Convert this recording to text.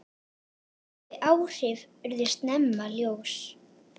Þau áhrif urðu snemma ljós.